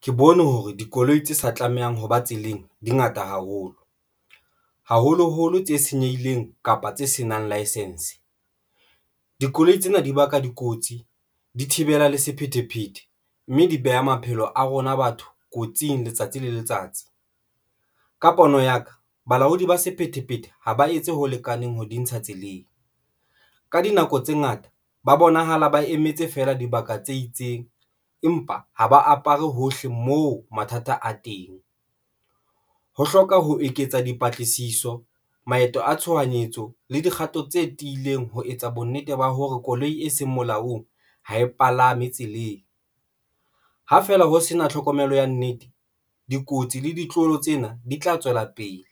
Ke bone hore dikoloi tse sa tlamehang hoba tseleng dingata haholo, haholoholo tse senyehileng kapa tse senang licence dikoloi tsena di baka dikotsi, di thibela le sephethephethe mme di beha maphelo a rona batho kotsing letsatsi le letsatsi. Ka pono ya ka balaodi ba sephethephethe ha ba etse ho lekaneng ho di ntsha tseleng ka dinako tse ngata, ba bonahala ba emetse feela dibaka tse itseng empa ha ba apare hohle moo mathata a teng. Ho hloka ho eketsa dipatlisiso, maeto a tshohanyetso le dikgato tse tiileng, ho etsa bonnete ba hore koloi e seng molaong ha e palame tseleng, ha fela ho sena tlhokomelo ya nnete. Dikotsi le ditloholo tsena di tla tswela pele.